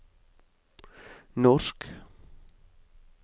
norsk